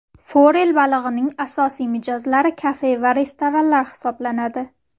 Forel balig‘ining asosiy mijozlari kafe va restoranlar hisoblanadi.